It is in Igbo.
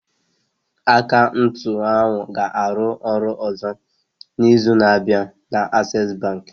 Akaụntụ ahụ ga-arụ ọrụ ọzọ n'izu na-abịa na Access Bank